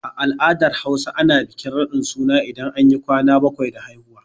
A al'adar Hausa, ana bikin raɗin suna idan anyi ƙwana baƙwai da haihuwa.